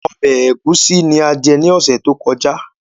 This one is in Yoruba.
Ọbẹ̀ ẹ̀gúsí ni a jẹ ní ọ̀sẹ̀ tó kọjá